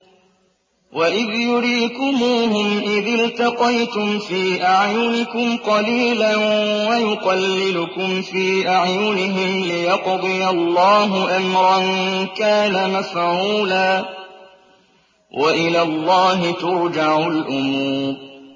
وَإِذْ يُرِيكُمُوهُمْ إِذِ الْتَقَيْتُمْ فِي أَعْيُنِكُمْ قَلِيلًا وَيُقَلِّلُكُمْ فِي أَعْيُنِهِمْ لِيَقْضِيَ اللَّهُ أَمْرًا كَانَ مَفْعُولًا ۗ وَإِلَى اللَّهِ تُرْجَعُ الْأُمُورُ